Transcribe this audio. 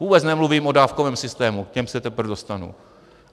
Vůbec nemluvím o dávkovém systému, k tomu se teprve dostanu.